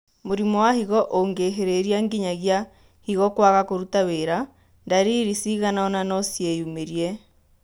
Mũrimũ wa higo ũngĩhĩrĩria nginyagia higo kwaga kũruta wĩra, ndariri cigana ona nociyumĩrie